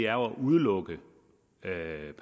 at udelukke